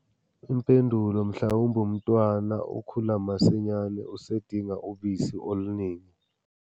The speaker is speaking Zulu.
Impendulo. Mhlawumbe umntwana ukhula masinyane, usedinga ubisi oluningi.